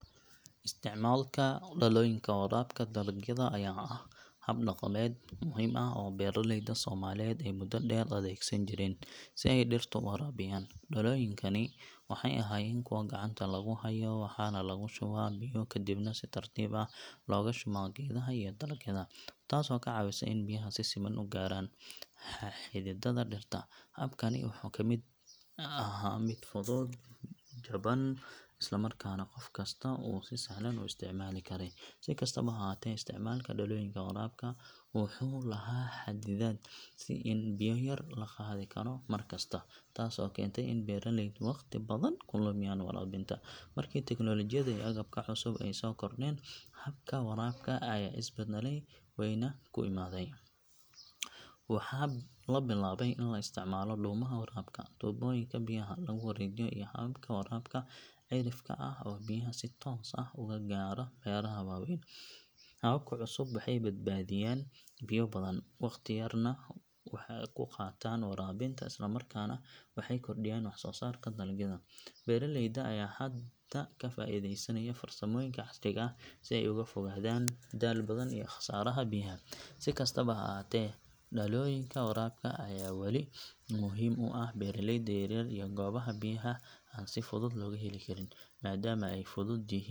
Beerta aqalka dhirta lagu koriyo waa meel si gaar ah loogu talagalay in dhirta lagu koriyo iyadoo la adeegsanayo aqal ama dhismo ka samaysan muraayad ama caag si ay u helaan iftiin iyo kulayl ku filan. Beertani waxay muhiimad gaar ah u leedahay bulshadeenna maxaa yeelay waxay suurtagelisaa in dhirta lagu beero xilliyo aan hore loogu baran in wax la beero. Beerta noocan ah waxay ka caawisaa beeraleyda in ay si joogto ah u helaan wax soo saar iyadoo aanay la xirin roob la’aan ama kulayl daran. Waxa kale oo ay muhiim u tahay dhalinyarada iyo haweenka beeraleyda ah kuwaas oo fursad u helaya inay shaqo abuuraan oo ay dhaqaale soo saaraan. Dhirta lagu koriyo aqalkaasi waxay u baxdaa si caafimaad leh maadaama lagu hayo jawi la xakameeyey oo laga ilaalinayo cayayaanka iyo cudurrada. Sidoo kale waxay suurtagelinaysaa in la beero khudaar iyo miro tayo sare leh sida yaanyo, basal, basal-cagaar, basal-bariis iyo bocor kuwaas oo si joogto ah loo heli karo suuqyadeenna. Beerta aqalka dhirta lagu koriyo waxay sidoo kale kaalin weyn ka ciyaartaa badbaadinta biyaha maadaama waraabkeedu uu yahay mid la xakameeyo oo aan khasaaro badan lahayn. Tani waxay keenaysaa in bulshada ay hesho cunto nadiif ah, la isku halayn karo, isla markaana laga helo gudaha iyada oo aan laga sugin suuqyada dibadda. Marka bulshadeennu ay maalgeliso beero noocan ah, waxaa kordhaya wax soo saarka gudaha, waxaana yaraada sicir bararka iyo cunto yaraanta. Ugu dambeyn, beerta aqalka dhirta .